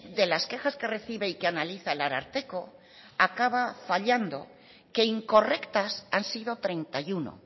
de las quejas que recibe y que analiza el ararteko acaba fallando que incorrectas han sido treinta y uno